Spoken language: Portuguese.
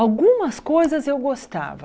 Algumas coisas eu gostava.